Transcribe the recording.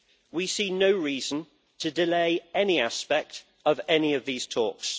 We see no reason to delay any aspect of any of these talks.